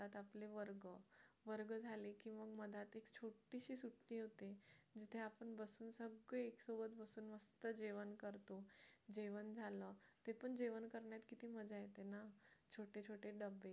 आपले वर्ग वर्ग झाले की मग मधात एक छोटीशी सुट्टी होते जिथे आपण बसून सगळे एक सोबत बसून जेवण करतो जेवण झालं ते पण जेवण करण्यात किती मजा येते ना छोटे छोटे डबे